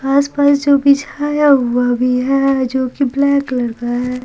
आसपास जो बिछाया हुआ भी है जो कि ब्लैक लग रहा है।